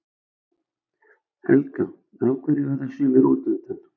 Helga: Af hverju verða sumir útundan?